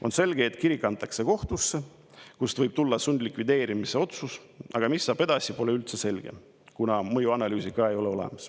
On selge, et kirik antakse kohtusse, kust võib tulla sundlikvideerimise otsus, aga mis saab edasi, pole üldse selge, kuna mõjuanalüüsi ka ei ole.